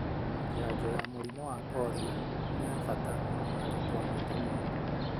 Janjo ya mũrimũ wa polio ni ya bata mũno harĩ twana tũnini.